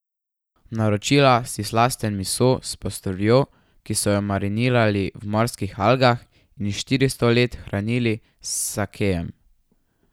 Naročila si slasten miso s postrvjo, ki so jo marinirali v morskih algah in štiristo let hranili s sakejem.